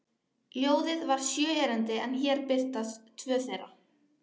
Ljóðið var sjö erindi en hér birtast tvö þeirra: